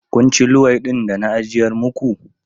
Kun ci luwaiɗin da na ajiyar maku?